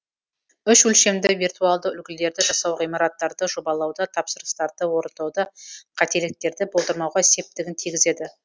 үш өлшемді виртуалды үлгілерді жасау ғимараттарды жобалауда тапсырыстарды орындауда қателіктерді болдырмауға септігін тигізеді